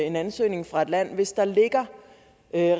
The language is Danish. en ansøgning fra et land og hvis der ligger